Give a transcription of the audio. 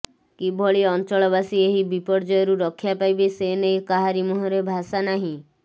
କିଭଳି ଅଂଚଳବାସୀ ଏହି ବିପର୍ଯ୍ୟୟରୁ ରକ୍ଷା ପାଇବେ ସେ ନେଇ କାହାରି ମୁହଁରେ ଭାଷା ନାହିଁ